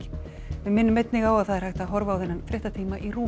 við minnum einnig á að það er hægt að horfa á þennan fréttatíma í RÚV